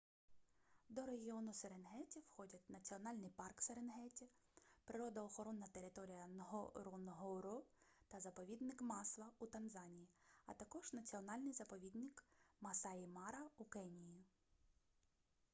до регіону серенгеті входять національний парк серенгеті природоохоронна територія нґоронґоро та заповідник масва у танзанії а також національний заповідник масаї-мара у кенії